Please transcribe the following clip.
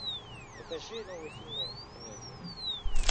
покажи новые фильмы комедии